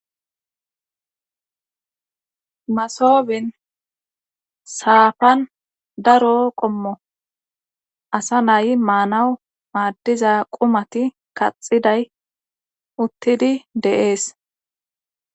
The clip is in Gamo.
masoobin saafan daro qommo asa naayi maanawu maaddiza qumati kaxiday uttidi de'ese